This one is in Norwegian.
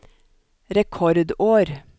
rekordår